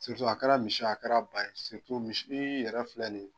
a kɛra misi ye a kɛra ba ye misi yɛrɛ filɛ nin ye.